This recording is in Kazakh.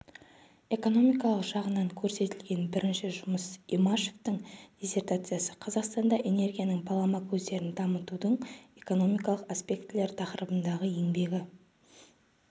экономикалық жағынан көрсетілген бірінші жұмыс имашевтың диссертациясы қазақстанда энергияның балама көздерін дамытудың экономикалық аспектілері тақырыбындағы еңбегі